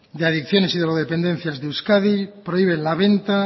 de adicciones y drogodependencias de euskadi prohíbe la venta